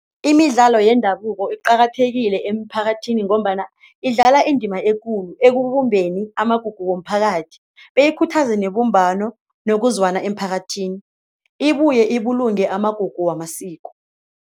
Imidlalo yendabuko iqakathekile emiphakathini ngombana idlala indima ekulu ekubumbeni amagugu womphakathi beyikhuthaza nebumbano nokuzwana emphakathini, ibuye ibulungo amagugu wamasiko.